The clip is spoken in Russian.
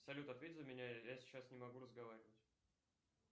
салют ответь за меня я сейчас не могу разговаривать